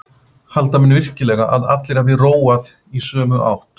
Halda menn virkilega að allir hafi róað í sömu átt?